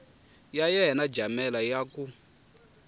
ya yena jamela ya ku